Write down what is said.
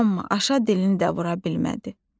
Amma aşa dilini də vura bilmədi.